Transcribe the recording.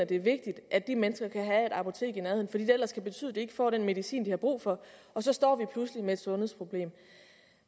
det er vigtigt at de mennesker kan have et apotek i nærheden fordi det ellers kan betyde at de ikke får den medicin de har brug for og så står vi pludselig med et sundhedsproblem